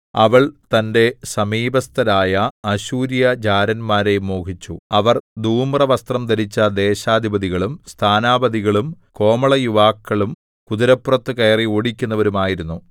അവൾ തന്റെ സമീപസ്ഥരായ അശ്ശൂര്യജാരന്മാരെ മോഹിച്ചു അവർ ധൂമ്രവസ്ത്രം ധരിച്ച ദേശാധിപതികളും സ്ഥാനാപതികളും കോമളയുവാക്കളും കുതിരപ്പുറത്തു കയറി ഓടിക്കുന്നവരുമായിരുന്നു